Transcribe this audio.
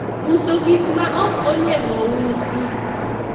uso gik ma ok onego usi